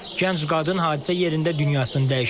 Gənc qadın hadisə yerində dünyasını dəyişib.